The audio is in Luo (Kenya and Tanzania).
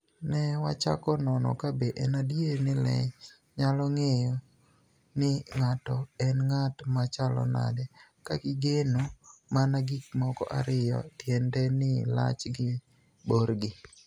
"ni e wachako nono kabe eni adier nii le niyalo nig'eyo nii nig'ato eni nig'at ma chalo niade ka gini eno mania gik moko ariyo, tienide nii lachgi gi borgi".